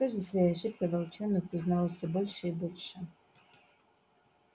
с каждой своей ошибкой волчонок узнавал всё больше и больше